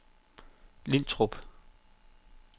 Lintrup